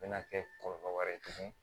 Mɛna kɛ kɔlɔlɔ wɛrɛ ye tuguni